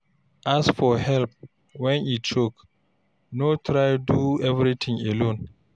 Ask for help when e choke, no try do everything alone